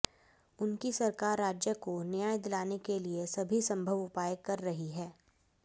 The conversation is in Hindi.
उनकी सरकार राज्य को न्याय दिलाने के लिए सभी संभव उपाय कर रही है